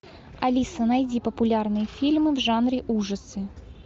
алиса найди популярные фильмы в жанре ужасы